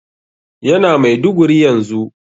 Yana Maiduguri yanzu.